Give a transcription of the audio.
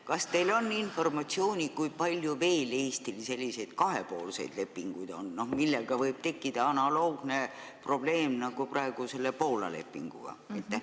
Kas teil on informatsiooni, kui palju on Eestil veel selliseid kahepoolseid lepinguid, millega võib tekkida analoogne probleem nagu praegu selle Poola lepinguga?